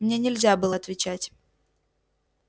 мне нельзя было отвечать